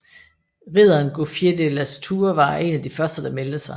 Ridderen Gouffier de Lastours var en af de første der meldte sig